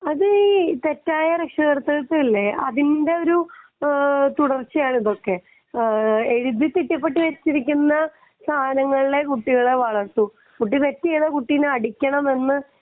അത് തെറ്റായ രക്ഷാകർത്തുത്വം അല്ലെ അതിന്റെ ഒരു തുടർച്ചയാണ് ഇതൊക്കെ എഴുതിപ്പിക്കപ്പെട്ടിരിക്കുന്ന ധാരണകളിലെ കുട്ടികളെ വളർത്തൂ കുട്ടി തെറ്റ് ചെയ്താൽ കുട്ടിയെ അടിക്കണമെന്ന്